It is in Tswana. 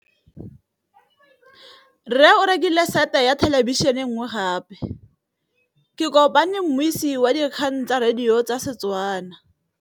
Rre o rekile sete ya thêlêbišênê e nngwe gape. Ke kopane mmuisi w dikgang tsa radio tsa Setswana.